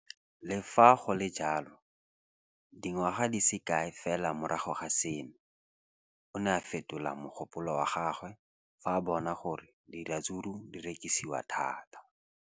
Le fa go le jalo, dingwaga di se kae fela morago ga seno, o ne a fetola mogopolo wa gagwe fa a bona gore diratsuru di rekisiwa thata.